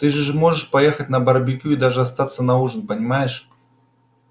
ты же можешь поехать на барбекю и даже остаться на ужин понимаешь